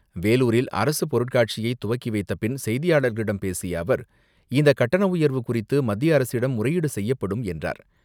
வேலுாரில் அரசு பொருட்காட்சியை துவக்கி வைத்த பின் செய்தியாளர்களிடம் பேசிய அவர், இந்தக் கட்டண உயர்வு குறித்து மத்திய அரசிடம் முறையீடு செய்யப்படும் என்றார்.